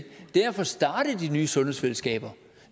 er at få startet de nye sundhedsfællesskaber